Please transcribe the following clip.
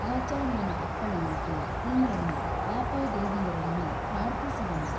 ಆಚಾರ್ಯನ ಅಪ್ಪಣೆಯಂತೆ ಇಂದ್ರನು ಆಪೋದೇವಿಯರನ್ನು ಪ್ರಾರ್ಥಿಸಿದನು.